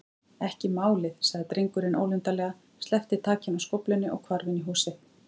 Ekki málið- sagði drengurinn ólundarlega, sleppti takinu á skóflunni og hvarf inn í húsið.